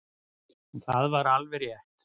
Og það var alveg rétt.